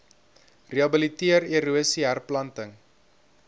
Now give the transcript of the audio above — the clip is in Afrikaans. rehabiliteer erosie herplanting